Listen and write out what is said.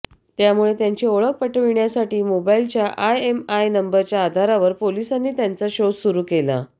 त्यामुळे त्यांची ओळख पटविण्यासाठी मोबाईलच्या आयएमआय नंबरच्या आधारावर पोलिसांनी त्यांचा शोध सुरू केला